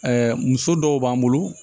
muso dɔw b'an bolo